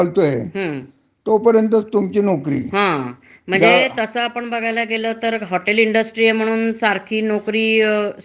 हो. हा. आता म्हणजे त्याचा जर धंदाच चालत नसेल, हं. तर तो त्याला ज्याठिकनी पाच नोकरात भागतय,